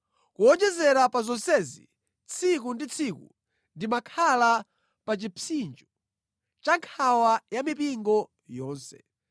Kuwonjezera pa zonsezi, tsiku ndi tsiku ndimakhala pa chipsinjo cha nkhawa ya mipingo yonse.